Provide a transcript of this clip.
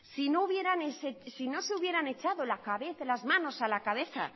si no se hubieran echado las manos a la cabeza